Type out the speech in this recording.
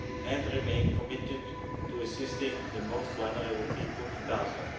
now and remain committed to assisting the most vulnerable people in Gaza.